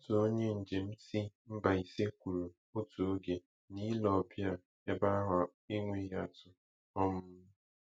Otu onye njem si Mbaise kwuru otu oge na ile ọbịa ebe ahụ enweghị atụ. um